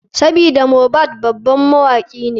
Sabida mohbad baban mawaki ne.